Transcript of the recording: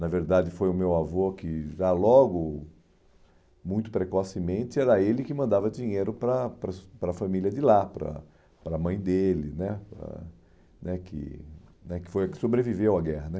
Na verdade, foi o meu avô que já logo, muito precocemente, era ele que mandava dinheiro para para a para família de lá, para a para mãe dele né eh, né que né que foi a que sobreviveu à guerra né.